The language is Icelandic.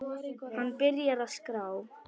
Hann byrjar að skrá.